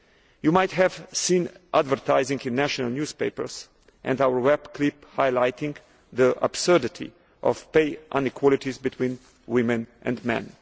You might have seen advertising in national newspapers and our web clip highlighting the absurdity of pay inequalities between women and men.